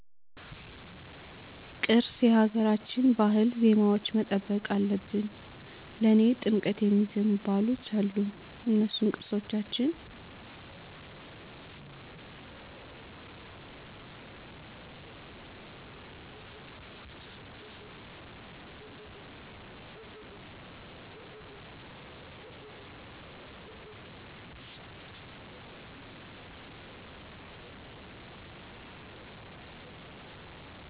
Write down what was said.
ቅርስ የሀገራችን ባህል ዜማዎች መጠበቅ አለብን ለኔ ጥምቀት የሚዜሙ ባህሎች አሉ እነሱን ቅርሶቻችን